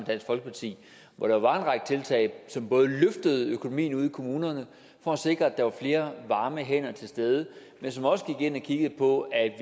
dansk folkeparti hvor der var en række tiltag som både løftede økonomien ude i kommunerne for at sikre at der var flere varme hænder til stede men som også gik ind og kiggede på at